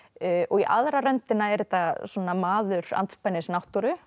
í aðra röndina er þetta svona maður andspænis náttúru